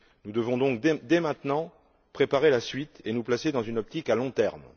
Nous devons donc, dès maintenant, préparer la suite et nous placer dans une optique à long terme.